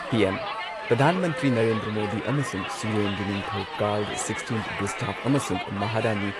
PM. ꯄ꯭ꯔꯙꯥꯟ ꯃꯟꯇ꯭ꯔꯤ ꯅꯔꯦꯟꯗ꯭ꯔ ꯃꯣꯗꯤ ꯑꯃꯁꯨꯡ ꯁ꯭ꯋꯤꯗꯦꯟꯒꯤ ꯅꯤꯡꯊꯧ ꯀꯥꯔꯜ ꯁꯤꯛꯁꯇꯤꯟ ꯒꯨꯁꯇꯥꯐ ꯑꯃꯁꯨꯡ ꯃꯍꯥꯔꯥꯅꯤ